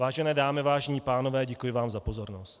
Vážené dámy, vážení pánové, děkuji vám za pozornost.